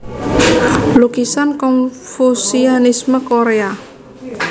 Lukisan Konfusianisme Korea